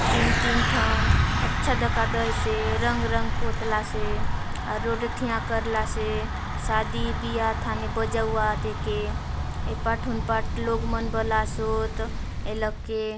तीन तीन ठन अच्छा धकादीसे रंग रंग पुतला से से शादी ब्याह ठने बजवात ठेके यह पाठलु पतलू मन बालासोत एलोग के--